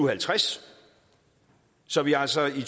og halvtreds så vi altså i